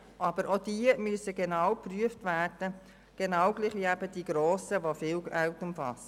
Aber auch diese müssen gleichermassen geprüft werden wie die grossen Gesuche, welche hohe Beträge umfassen.